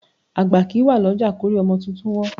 Àgbá kì í wà lọ́jà kórí ọmọ tuntun wọ́n.